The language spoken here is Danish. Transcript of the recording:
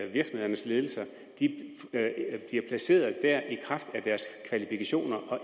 virksomhedernes ledelser bliver placeret der i kraft af deres kvalifikationer og